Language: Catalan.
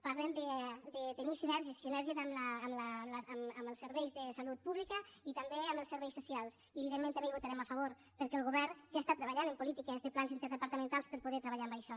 parlen de tenir sinergies sinergies amb els serveis de salut pública i també amb els serveis socials i evidentment també hi votarem a favor perquè el govern ja està treballant en polítiques de plans interdepartamentals per a poder treballar en això